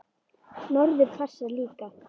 Norður passar líka.